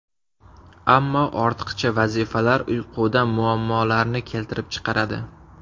Ammo ortiqcha vazifalar uyquda muammolarni keltirib chiqaradi.